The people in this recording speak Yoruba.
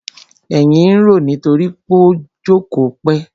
Èyìn ń roó nítorí pó jókòó pẹ́.